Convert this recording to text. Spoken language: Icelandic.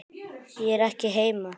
Ég er ekki heima.